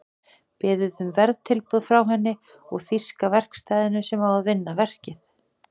Beðið um verðtilboð frá henni og þýska verkstæðinu sem á að vinna verkið.